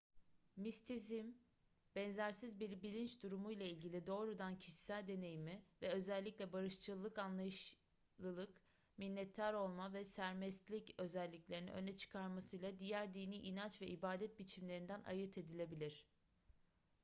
mistisizm benzersiz bir bilinç durumuyla ilgili doğrudan kişisel deneyimi ve özellikle barışçıllık anlayışlılık minnettar olma ve sermestlik özelliklerini öne çıkarmasıyla diğer dini inanç ve ibadet biçimlerinden ayırt edilebilir